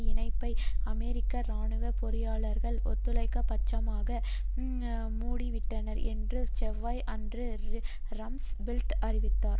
இணைப்பை அமெரிக்க இராணுவ பொறியாளர்கள் ஒருதலை பட்சமாக மூடிவிட்டனர் என்று செவ்வாய் அன்று ரம்ஸ்பீல்ட் அறிவித்தார்